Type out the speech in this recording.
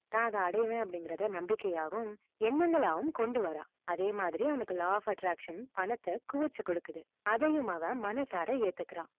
தான் அதை அடைவேன் அப்படிங்கிறத நம்பிக்கையாவும், எண்ணங்களாவும் கொண்டு வரான். அதே மாதிரி அவனுக்கு law of attraction பணத்தை குவிச்சு கொடுக்குது. அதையும் அவன் மனசார ஏத்துக்கிறான்.